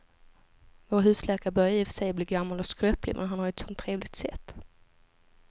Vår husläkare börjar i och för sig bli gammal och skröplig, men han har ju ett sådant trevligt sätt!